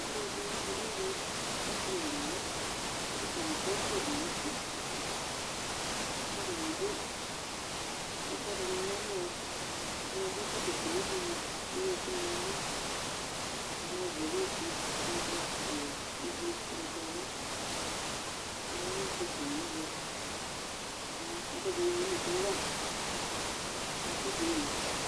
Alʋ ɛdini kɔ nʋ ɛvɛ, asi nʋ alʋvi, kʋ atani asa ɔvlɛ dʋ nʋ uti kʋ atani adʋ ʋfa dini nʋ ɛmɔ Ɛdini adʋ ɛkɔtɔ kulu dini kʋ ewu ɛkʋ ni nɛlʋ Ɛdini ɔvlɛ lɛ ofue, ɔvɛ, ɔwɛ, ʋblʋ, ʋgbatawla kʋ ayanʋ kpafo nɛvɛ kʋ akazɛvi imɛnusɛ wa nʋ itsu di wu